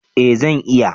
Eh zan iya